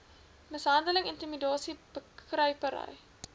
mishandeling intimidasie bekruipery